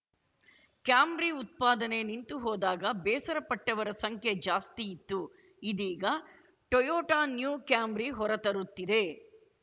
Camry ಉತ್ಪಾದನೆ ನಿಂತು ಹೋದಾಗ ಬೇಸರ ಪಟ್ಟವರ ಸಂಖ್ಯೆ ಜಾಸ್ತಿ ಇತ್ತು ಇದೀಗ ಟೊಯೋಟ ನ್ಯೂ ಕ್ಯಾಮ್ರಿ ಹೊರತರುತ್ತಿದೆ